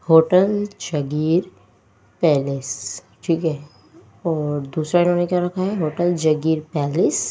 hotel Jagir palace ठीक है और दूसरा इन्होंने क्या रखा हैहोटल जागीर पैलेस --